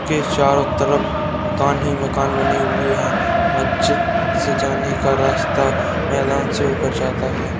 --के चारो तरफ मकान ही मकान बने हुए हैं मस्जिद से जाने का रास्ता मैदान से होकर जाता हैं ।